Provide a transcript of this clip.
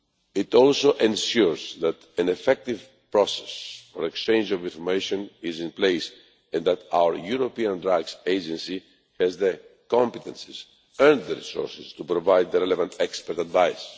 It also ensures that an effective process for exchange of information is in place, and that our European Drugs Agency has the competences and the resources to provide the relevant expert advice.